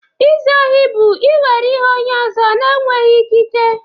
Izu ohi bụ ị were ihe onye ọzọ na-enweghị ikike.